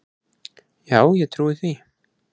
Já, ég trúi því